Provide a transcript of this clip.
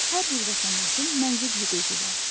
Hər bir vətəndaşın mənzil hüququ var.